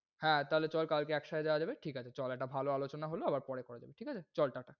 হ্যাঁ, তাহলে চল কালকে একসাথে যাওয়া যাবে। ঠিক আছে চল একটা ভালো আলোচনা হল। আবার পরে করা যাবে। চল টা টা।